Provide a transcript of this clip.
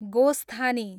गोस्थानी